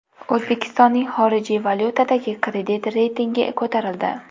O‘zbekistoning xorijiy valyutadagi kredit reytingi ko‘tarildi.